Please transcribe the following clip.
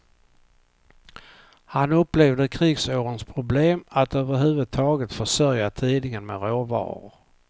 Han upplevde krigsårens problem att över huvud taget försörja tidningen med råvaror.